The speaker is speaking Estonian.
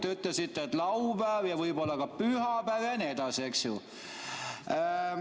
Te ütlesite, et laupäev ja võib-olla ka pühapäev ja nii edasi, eks ju.